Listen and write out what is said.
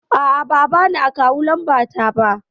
A'a ba a bani akawu lamba ta ba